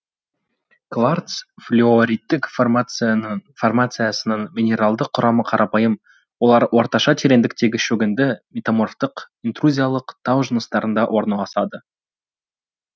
кварц флюориттік формациясының минералды құрамы қарапайым олар орташа тереңдіктегі шөгінді метаморфтық интрузиялық тау жыныстарында орналасады